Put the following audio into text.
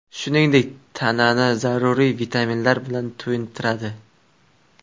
Shuningdek, tanani zaruriy vitaminlar bilan to‘yintiradi.